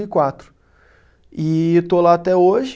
E quatro. E eu estou lá até hoje.